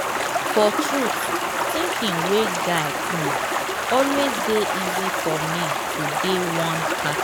for truth thinking way guide um always dey easy for me to dey one pattern.